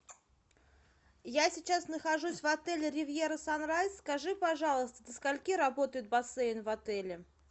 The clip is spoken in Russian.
я сейчас нахожусь в отеле ривьера санрайз скажи пожалуйста со скольки работает бассейн в отеле